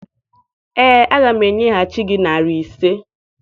Ee, aga m enyeghachi gị narị ise.